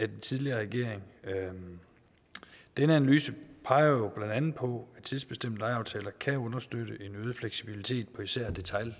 tidligere regering den analyse peger jo blandt andet på at tidsbestemte lejeaftaler kan understøtte en øget fleksibilitet på især